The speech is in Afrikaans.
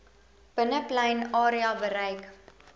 binneplein area bereik